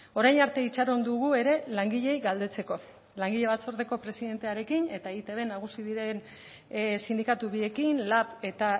orain arte itxaron dugu ere langileei galdetzeko langile batzordeko presidentearekin eta eitbn nagusi diren sindikatu biekin lab eta